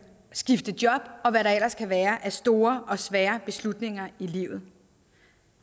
skifte job og hvad der ellers kan være af store og svære beslutninger i livet